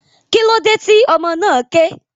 Kílódé tí ọmọ náà ké?